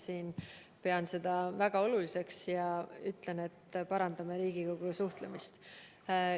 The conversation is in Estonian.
Ma pean seda väga oluliseks ja ütlen, et parandan Riigikoguga suhtlemist.